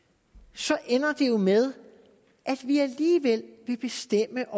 så ender det jo med at vi alligevel vil bestemme